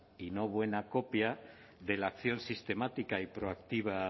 y no buena copia de la acción sistemática y proactiva